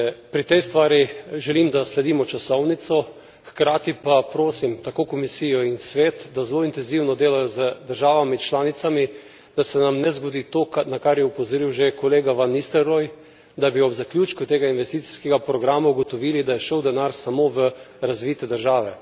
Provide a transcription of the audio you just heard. Pri tej stvari želim, da sledimo časovnici, hkrati pa prosim tako Komisijo kot Svet, da zelo intenzivno delata z državami članicami, da se nam ne zgodi to, na kar je opozoril že kolega Van Nistelrooij, da bi ob zaključku tega investicijskega programa ugotovili, da je šel denar samo v razvite države.